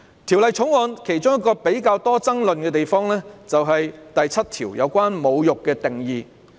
《條例草案》其中一個較具爭議之處，是第7條有關"侮辱"的定義。